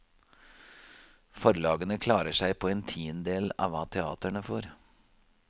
Forlagene klarer seg på en tiendedel av hva teatrene får.